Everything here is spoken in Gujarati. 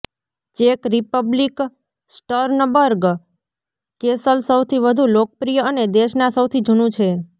ચેક રિપબ્લિક સ્ટર્નબર્ગ કેસલ સૌથી વધુ લોકપ્રિય અને દેશના સૌથી જુનું છે